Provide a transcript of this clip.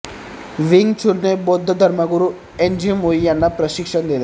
wing चुनने बौद्ध धर्मगुरू एन जी मुई यांना प्रशिक्षण दिले